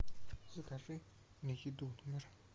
закажи мне еду в номер